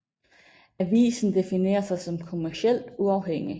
Avisen definerer sig som kommercielt uafhængig